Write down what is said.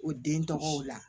O den tɔgɔw la